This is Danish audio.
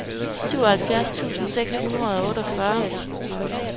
syvoghalvfjerds tusind seks hundrede og otteogfyrre